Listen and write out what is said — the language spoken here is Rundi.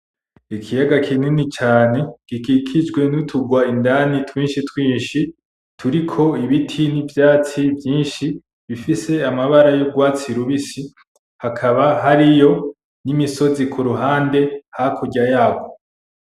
Ikiyaga kinini cane, gikikijwe nuturwa indani twinshi twinshi, Turiko ibiti ni vyatsi vyinshi, bifise amabara yurwatsi rubisi. Hakaba hariyo nimisozi kuruhande hakurya yaho.